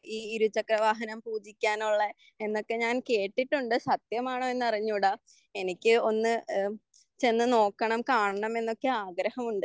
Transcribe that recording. ഈ ഇരുചക്ര വാഹനം സുഖിപ്പിക്കാനുള്ള എന്നൊക്കെ ഞാൻ കേട്ടിട്ടുണ്ട് സത്യമാണെന്നൊന്നും അറിഞ്ഞൂടാ. എനിക്ക് ഒന്ന് ഏഹ് ചെന്ന് നോക്കണം കാണണം എന്നൊക്ക ആഗ്രഹമുണ്ട്.